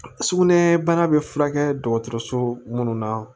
Sugunɛ bana bɛ furakɛ dɔgɔtɔrɔso minnu na